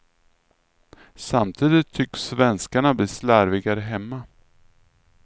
Samtidigt tycks svenskarna bli slarvigare hemma.